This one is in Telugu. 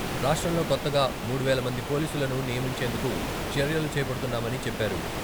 రాష్ట్రంలో కొత్తగా మూడు వేల మంది పోలీసులను నియమించేందుకు చర్యలు చేపడుతున్నామని, చెప్పారు.